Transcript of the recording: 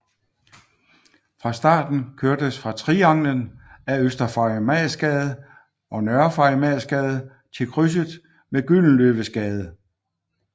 Fra starten kørtes fra Trianglen ad Øster Farimagsgade og Nørre Farimagsgade til krydset med Gyldenløvesgade